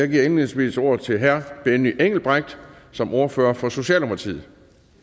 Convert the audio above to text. indledningsvis ordet til herre benny engelbrecht som ordfører for socialdemokratiet